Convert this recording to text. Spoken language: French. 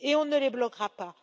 Et on ne les bloquera pas.